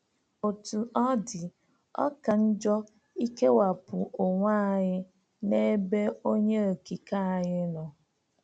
Otú ọ dị, ọ ka njọ ikewapụ onwe anyị n’ebe Onye Okike anyị nọ.